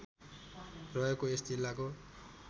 रहेको यस जिल्लाको